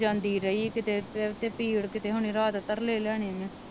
ਜਾਂਦੀ ਰਹੀ ਕੀਤੇ